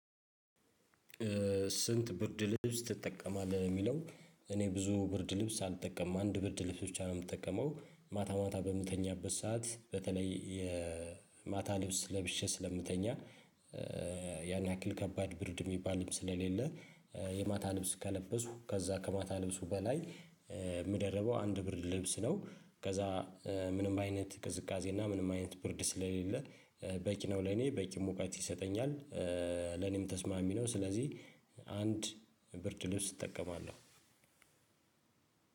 ስንት ብርድ ልብስ ትጠቀማለህ ለሚለው? እኔ ብዙ ብርድ ልብስ አልጠቀምም አንድ ብርድ ልብስ ብቻ ነው የምጠቀመው ማታ ማታ በምተኛበት ሰዓት በተለይ የማታ ልብስ ለብሼ ስለምተኛ። ያን ያክል ከባድ ብርድ የሚባልም ስለሌለ የማታ ልብስ ከለበስኩ ከዛ ከማታ ልብሱ በላይ የምደረበው አንድ ብርድ ልብስ ነው ከዛ። ምንም አይነት ቅዝቃዜ ምንም አይነት ብርድ ስለሌለ በቂ ነው ለኔ በቂ ሙቀት ይሰጠኛል። ለኔም ተስማሚ ነው ስለዚህ። አንድ ብርድ ልብስ እጠቀማለሁ።